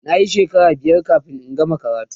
nayi shekara biyar kamin in gama karatun